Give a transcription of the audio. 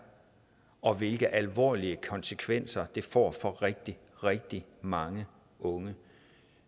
og hvilke alvorlige konsekvenser det får for rigtig rigtig mange unge